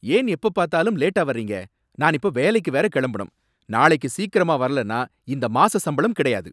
ஏன் எப்பப் பார்த்தாலும் லேட்டா வர்றீங்க? நான் இப்ப வேலைக்கு வேற கிளம்பணும்! நாளைக்கு சீக்கிரமா வரலனா இந்த மாசம் சம்பளம் கிடையாது.